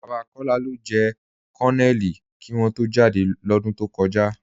Baba Kọla ló jẹ̀ Kọnónélì kí wọ̀n tó jádẹ́ lódún tó kọja.